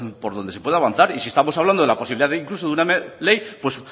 por donde se puede avanzar y si estamos hablando de la posibilidad incluso de una ley pues